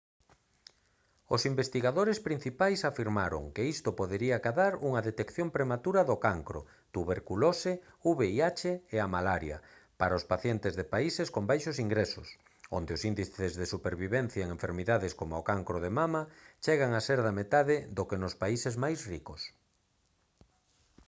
os investigadores principais afirmaron que isto podería acadar unha detección prematura do cancro tuberculose vih e a malaria para os pacientes de países con baixos ingresos onde os índices de supervivencia en enfermidades como o cancro de mama chegan a ser da metade do que nos países máis ricos